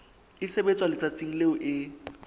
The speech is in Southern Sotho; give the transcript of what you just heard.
e sebetswa letsatsing leo e